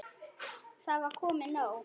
Það var komið nóg.